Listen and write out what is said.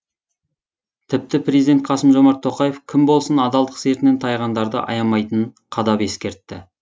тіпті президент қасым жомарт тоқаев кім болсын адалдық сертінен тайғандарды аямайтынын қадап ескертті